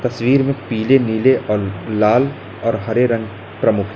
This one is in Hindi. तस्वीर में पीले नीले और लाल और हरे रंग प्रमुख हैं।